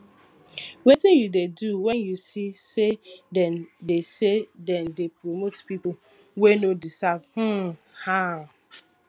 wetin you dey do when you see say dem dey say dem dey promote people wey no deserve um am